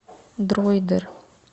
дройдер